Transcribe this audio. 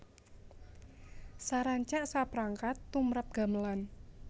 Sarancak saprangkat tumrap gamelan